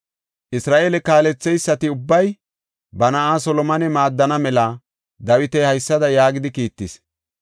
Isra7eele kaaletheysati ubbay ba na7aa Solomone maaddana mela Dawiti haysada yaagidi kiittis;